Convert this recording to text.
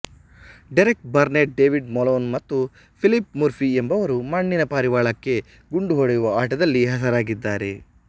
Derek Burnett David Malone ಮತ್ತು Philip Murphy ಎಂಬುವವರು ಮಣ್ಣಿನ ಪಾರಿವಾಳಕ್ಕೆ ಗುಂಡು ಹೊಡೆಯುವ ಆಟದಲ್ಲಿ ಹೆಸರಾಗಿದ್ದಾರೆ